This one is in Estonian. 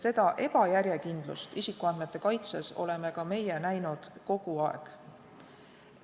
Seda ebajärjekindlust isikuandmete kaitses oleme ka meie näinud kogu aeg.